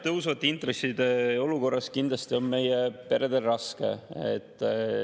Tõusvate intresside olukorras on kindlasti meie peredel raske.